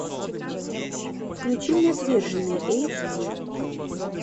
включи мне отверженные эйч ди